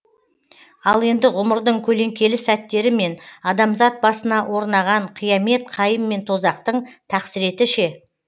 ал енді ғұмырдың көлеңкелі сәттері мен адамзат басына орынаған қиямет қайым мен тозақтың тақсіреті ше